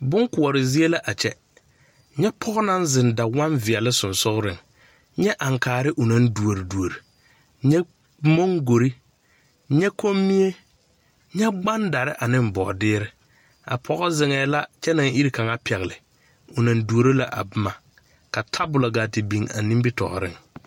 Bonkoɔre zie la a kyɛ, nyɛ pɔge naŋ zeŋ dawɔm veɛle sonsonne, nyɛ aŋkaare o naŋ duore duore, nyɛ mɔŋgore, nyɛ kɔmmie, nyɛ gbadare ane bɔɔdeɛre a pɔge zeŋɛɛ la kyɛ naŋ iri kaŋa pɛgle o naŋ duoro la a boma, ka tabol a te biŋ a nimiri tɔɔre.